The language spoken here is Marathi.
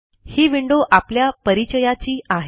ही विंडो आपल्या परिचयाची आहे